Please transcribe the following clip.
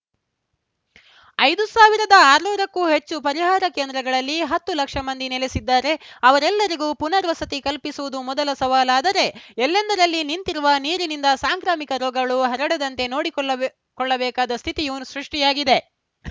ಐದು ಸಾವಿರದ ಆರುನೂರು ಕ್ಕೂ ಹೆಚ್ಚು ಪರಿಹಾರ ಕೇಂದ್ರಗಳಲ್ಲಿ ಹತ್ತು ಲಕ್ಷ ಮಂದಿ ನೆಲೆಸಿದ್ದಾರೆ ಅವರೆಲ್ಲರಿಗೂ ಪುನಾವಸತಿ ಕಲ್ಪಿಸುವುದು ಮೊದಲ ಸವಾಲಾದರೆ ಎಲ್ಲೆಂದರಲ್ಲಿ ನಿಂತಿರುವ ನೀರಿನಿಂದ ಸಾಂಕ್ರಾಮಿಕ ರೋಗಗಳು ಹರಡದಂತೆ ನೋಡಿಕೊಳಬೆ ಕೊಳ್ಳಬೇಕಾದ ಸ್ಥಿತಿಯೂ ಸೃಷ್ಟಿಯಾಗಿದೆ